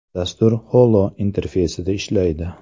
Dastur HOLO interfeysida ishlaydi.